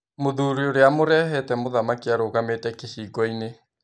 Mũthuri ũrĩa amũrehete mũthamaki arũgamĩte kĩhingoinĩ.